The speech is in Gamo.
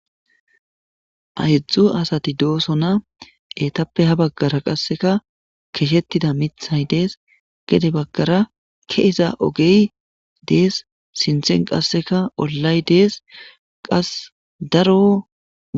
Aydzdzu asati dooso na etappe ha baggara qasseka keshettida mithay dees gede baggara keeza ogey dees sinthen qasseka ollay dees qas daro.